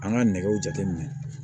An ka nɛgɛw jateminɛ